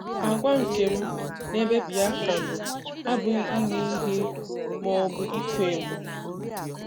Àgwà nke m n'ebe Biafra nọ abụghị 'ime ihe' ma ọ bụ ịkwa emo.